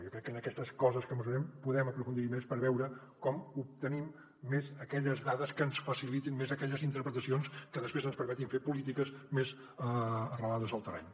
jo crec que en aquestes coses que mesurem podem aprofundir hi més per veure com obtenim més aquelles dades que ens facilitin més aquelles interpretacions que després ens permetin fer polítiques més arrelades al terreny